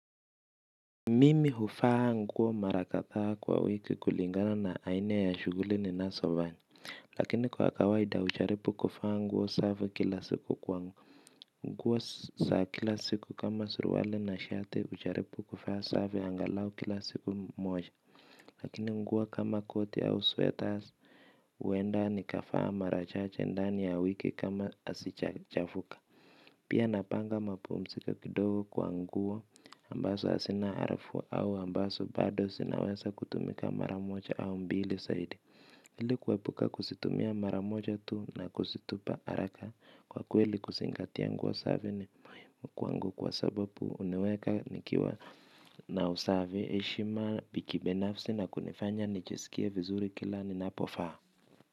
Mimi huvaa nguo mara kadhaa kwa wiki kulingana na aina ya shughuli ninazofanya, lakini kwa kawaida hujaribu kuvaa nguo safi kila siku kwani. Kwa kuwa saa kila siku kama suruali na shati hujaripu kuvaa safi angalau kila siku moja, lakini nguo kama koti au sweaters, huenda nikavaa mara chache ndani ya wiki kama hazijachafuka. Pia napanga mapumziko kidogo kwa nguo ambazo hazina harufu au ambazo bado zinaweza kutumika mara moja au mbili zaidi ili kuepuka kuzitumia mara moja tu na kuzitupa haraka kwa kweli kuzingatia nguo safi ni muhimu kwa sababu huniweka nikiwa na usafi heshima ya kibinafsi na kunifanya nijiskie vizuri kila ninapovaa.